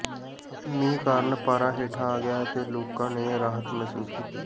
ਮੀਂਹ ਕਾਰਨ ਪਾਰਾ ਹੇਠਾਂ ਆ ਗਿਆ ਤੇ ਲੋਕਾਂ ਨੇ ਰਾਹਤ ਮਹਿਸੂਸ ਕੀਤੀ